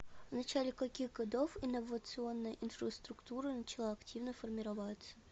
в начале каких годов инновационная инфраструктура начала активно формироваться